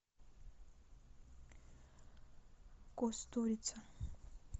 кустурица